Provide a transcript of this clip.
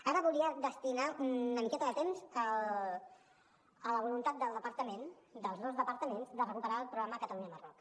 ara voldria destinar una miqueta de temps a la voluntat del departament dels dos departaments de recuperar el programa catalunya marroc